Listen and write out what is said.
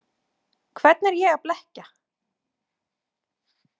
Hvern er ég að blekkja?